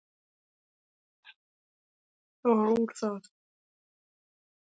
Það varð úr að